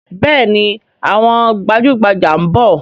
Bẹẹni, àwọn gbajugbaja ń bọ̀